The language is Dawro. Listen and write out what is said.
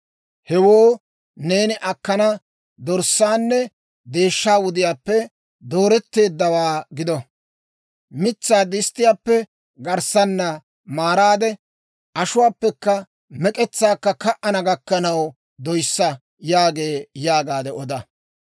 Hewoo neeni akkana dorssaaynne deeshshay wudiyaappe dooretteeddawaa gido. Mitsaa disttiyaappe garssaana maaraade, ashuwaakka mek'etsaakka ka"ana gakkanaw doyissa» yaagee› yaagaade oda.